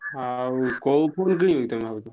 ହଁ ଆଉ କୋଉ phone କିଣିବ କି ତମେ ଭାବୁଛ?